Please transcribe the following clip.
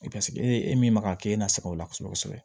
Eseke e min maga e nasɛbɛn o la kosɛbɛ kosɛbɛ